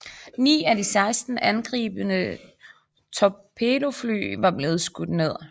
Ni af de 16 angribende torpedofly var blevet skudt ned